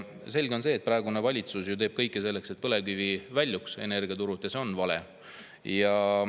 Selge on see, et praegune valitsus teeb kõik selleks, et põlevkivi väljuks energiaturult, ja see on vale.